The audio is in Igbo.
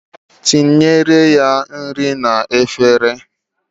Tinyere ya nri n'efere.